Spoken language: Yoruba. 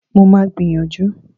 Mo máa gbìyànjú